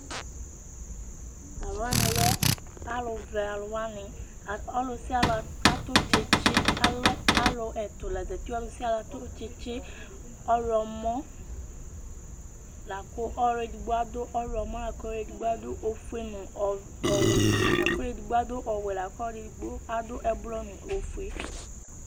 T'aluwani lɛ aluvɛ aluwani, ɔlusiali atù tsitsi alɛ alu ɛtu la zati, ɔlusialu atù tsitsi, ɔwlɔmɔ, laku ɔlu edigbo adu ɔwlɔmɔ la ku edigbo adu ofue n'ɔwɛ, la ku ɛdigbo adu ɔwɛ la ku ɔlu edigbo adu ɛblɔ nu ofue